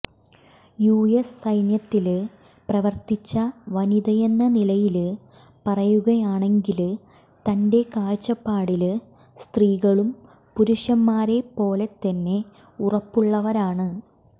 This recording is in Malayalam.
യുഎസ് സൈന്യത്തില് പ്രവര്ത്തിച്ച വനിതയെന്ന നിലയില് പറയുകയാണെങ്കില് തന്റെ കാഴ്ച്ചപ്പാടില് സ്ത്രീകളും പുരുഷന്മാരെ പോലെതന്നെ ഉറപ്പുള്ളവരാണ്